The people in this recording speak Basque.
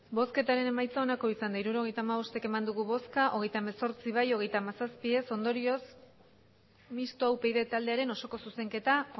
hirurogeita hamabost eman dugu bozka hogeita hemezortzi bai hogeita hamazazpi ez ondorioz mistoa upyd taldearen osoko zuzenketa